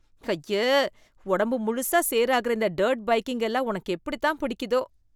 அய்ய, ஒடம்பு முழுசா சேராகுற இந்த டர்ட் பைக்கிங் எல்லாம் உனக்கு எப்படித்தான் பிடிக்குதோ?